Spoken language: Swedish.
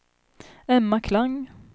Emma Klang